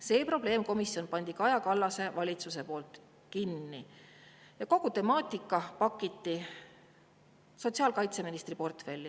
Selle probleemkomisjoni pani Kaja Kallase valitsus kinni ja kogu temaatika pakiti sotsiaalkaitseministri portfelli.